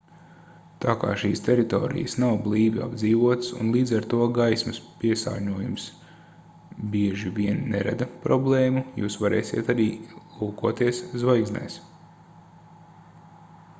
tā kā šīs teritorijas nav blīvi apdzīvotas un līdz ar to gaismas piesārņojums bieži vien nerada problēmu jūs varēsiet arī lūkoties zvaigznēs